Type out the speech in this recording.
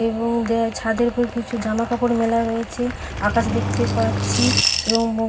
এবং দে - ছাদের উপর কিছু জামা কাপড় মেলা রয়েছে আকাশ দেখতে পাচ্ছি এবং--